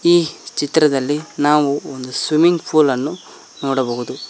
ಈ ಚಿತ್ರದಲ್ಲಿ ನಾವು ಒಂದು ಸ್ವಿಮ್ಮಿಂಗ್ ಪೂಲ್ ಅನ್ನು ನೋಡಬಹುದು.